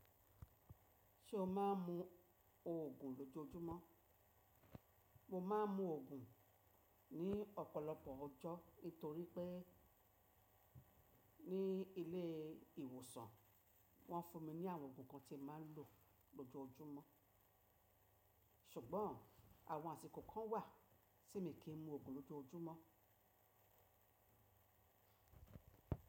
Ṣé o má n mu òògùn lójoojúmọ́? Mo má n mu òògùn ní ọ̀pọ̀lọpọ̀ ọjọ́ nítorí pé ní ilé ìwòsàn wọ́n fún mi ní àwọn òògùn kan tí mà ń lò lójoójúmọ́. Ṣùgbọ́n àwọn àsìkò kan wà tí mii kì í mu òògùn lójoójúmọ́.